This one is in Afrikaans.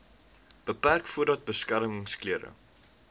beperk voordat beskermingsklere